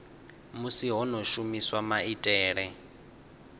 musi ho no shumiswa maitele